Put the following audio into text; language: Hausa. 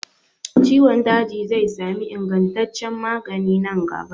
Ciwon daji zai sami ingantaccen magani nan gaba.